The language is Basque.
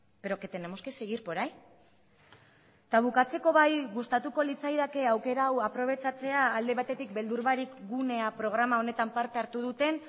pero que tenemos que seguir por ahí eta bukatzeko bai gustatuko litzaidake aukera hau aprobetxatzea alde batetik beldur barik gunea programa honetan parte hartu duten